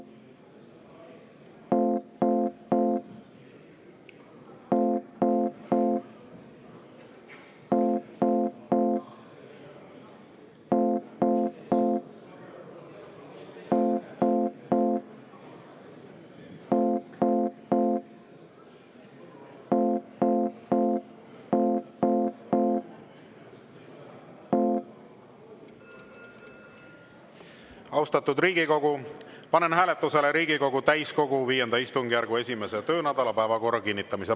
Austatud Riigikogu, panen hääletusele Riigikogu täiskogu V istungjärgu 1. töönädala päevakorra kinnitamise.